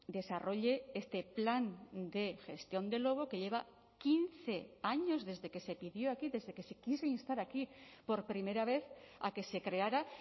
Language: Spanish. desarrolle este plan de gestión del lobo que lleva quince años desde que se pidió aquí desde que se quiso instar aquí por primera vez a que se creara